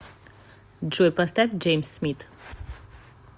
джой поставь джеймс смит